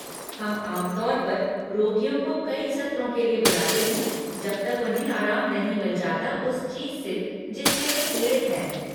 हम आम तौर पर रोगियों को कई सत्रों के लिए बुलाते हैं जब तक उन्हें आराम नहीं मिल जाता उस चीज से, जिससे वे पीड़ित हैं।